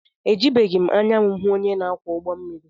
Ejibeghị m anya m hụ onye na-akwọ ụgbọmmiri